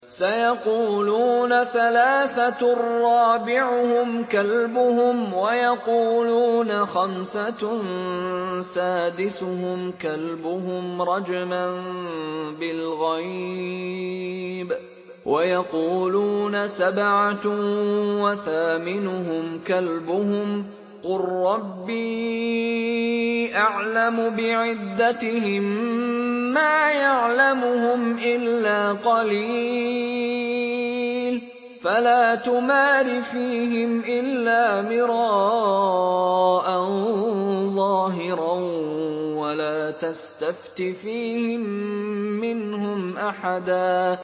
سَيَقُولُونَ ثَلَاثَةٌ رَّابِعُهُمْ كَلْبُهُمْ وَيَقُولُونَ خَمْسَةٌ سَادِسُهُمْ كَلْبُهُمْ رَجْمًا بِالْغَيْبِ ۖ وَيَقُولُونَ سَبْعَةٌ وَثَامِنُهُمْ كَلْبُهُمْ ۚ قُل رَّبِّي أَعْلَمُ بِعِدَّتِهِم مَّا يَعْلَمُهُمْ إِلَّا قَلِيلٌ ۗ فَلَا تُمَارِ فِيهِمْ إِلَّا مِرَاءً ظَاهِرًا وَلَا تَسْتَفْتِ فِيهِم مِّنْهُمْ أَحَدًا